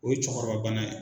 O ye cɛkɔrɔba bana ye.